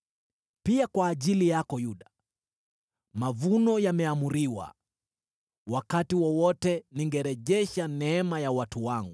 “Pia kwa ajili yako, Yuda, mavuno yameamriwa. “Wakati wowote ningerejesha neema ya watu wangu,